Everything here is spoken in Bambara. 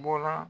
Bɔla